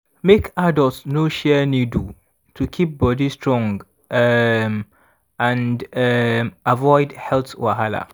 make adults no share needle to keep body strong um and um avoid health wahala.